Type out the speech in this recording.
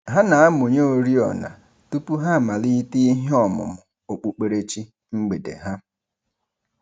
Ha na-amụnye oriọna tụpụ ha amalite ihe ọmụmụ okpukperechi mgbede ha.